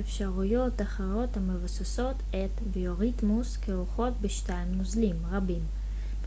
אפשרויות אחרות המבוססות עת ביוריתמוס כרוכות בשתיית נוזלים רבים